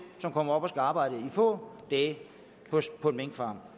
der kommer og skal arbejde i få dage på en minkfarm